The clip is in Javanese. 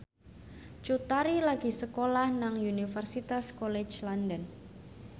Cut Tari lagi sekolah nang Universitas College London